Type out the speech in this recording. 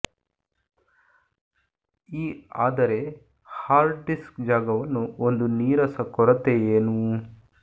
ಈ ಆದರೆ hard disk ಜಾಗವನ್ನು ಒಂದು ನೀರಸ ಕೊರತೆ ಏನೂ